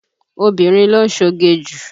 Obìnrin ló ń ṣoge jù.